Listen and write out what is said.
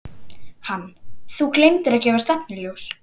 Hann: Þú gleymdir að gefa stefnuljós.